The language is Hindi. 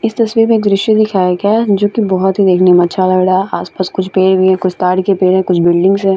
इस तस्वीर में दृश्य दिखाए गया है जो की बहुत ही देखने में अच्छा लगा रहा है आस-पास कुछ पेड़ भी हैं कुछ ताड़ के पेड़ हैं कुछ बिल्डिंग्स है।